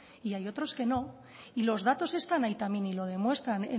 y hay otros que no y los datos están ahí también y lo demuestran